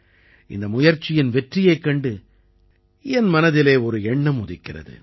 இந்த முயற்சியின் வெற்றியைக் கண்டு என் மனதிலே ஒரு எண்ணம் உதிக்கிறது